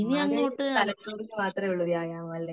മ്മ്‌ടെ തലച്ചോറിന് മാത്രേ ഉള്ള് വ്യായാമം അല്ലെ